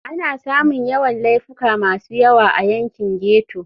Ana samun Yawan Laifuka masu yawa a yankin ghetto.